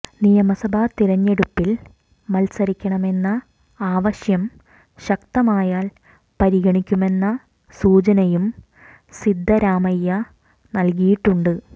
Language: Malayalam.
നിയമസഭാ തിരഞ്ഞെടുപ്പിൽ മത്സരിക്കണമെന്ന ആവശ്യം ശക്തമായാൽ പരിഗണിക്കുമെന്ന സൂചനയും സിദ്ധരാമയ്യ നൽകിയിട്ടുണ്ട്